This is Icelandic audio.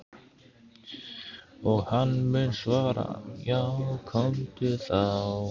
Og hann mun svara:- Já komdu þá.